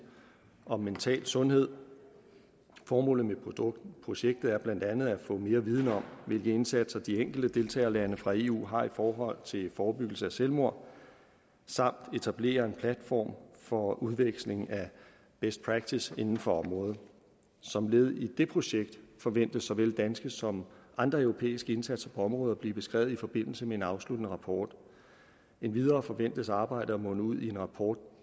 om mental sundhed formålet med projektet er blandt andet at få mere viden om hvilke indsatser de enkelte deltagerlande fra eu har i forhold til forebyggelse af selvmord samt at etablere en platform for udveksling af best practice inden for området som led i det projekt forventes såvel danske som andre europæiske indsatser på området at blive beskrevet i forbindelse med en afsluttende rapport endvidere forventes arbejdet at munde ud i en rapport